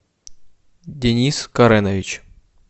денис каренович